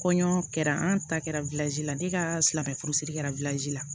Kɔɲɔ kɛra an ta kɛra la ne ka silamɛ furusiri kɛra la